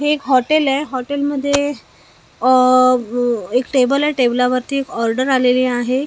हे एक हॉटेल आहे हॉटेलमध्ये अह एक टेबल टेबलावरती एक ऑर्डर आलेली आहे.